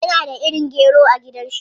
Yana da irin gero a gidan shi.